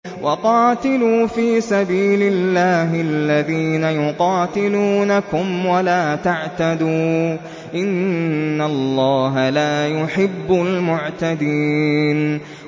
وَقَاتِلُوا فِي سَبِيلِ اللَّهِ الَّذِينَ يُقَاتِلُونَكُمْ وَلَا تَعْتَدُوا ۚ إِنَّ اللَّهَ لَا يُحِبُّ الْمُعْتَدِينَ